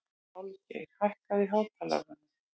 Álfgeir, hækkaðu í hátalaranum.